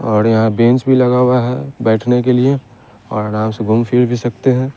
और यहां बेंच भी लगा हुआ है बैठने के लिए और आराम से घूम फिर भी सकते हैं।